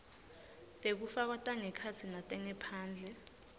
tekufakwa tangekhatsi netangephandle